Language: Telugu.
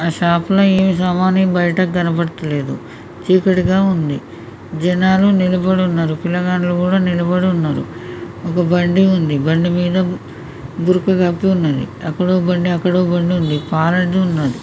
ఆ షాప్ లో ఏమి సామాను బయటకి కనబడతలేదు ఛీకటి గా ఉంది జనాలు నిలబడి ఉన్నారు పిలగాల్లు కూడా నిలబడి ఉన్నారు ఒక బండి ఉంది బండి మీద గురక గప్పి ఉంది అక్కడో బండి అక్కడో బండి ఉంది అయితే ఉన్నది ।